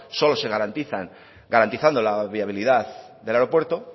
solo se garantizan garantizando la viabilidad del aeropuerto